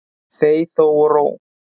Þey þey og ró.